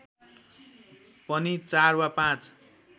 पनि ४ वा ५